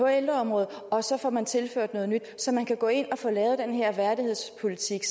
ældreområdet og så får man tilført noget nyt så man kan gå ind og få lavet den her værdighedspolitik